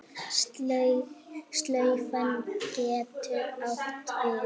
Slaufa getur átt við